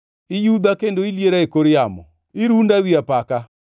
Iyudha kendo iliera e kor yamo, irunda ewi apaka.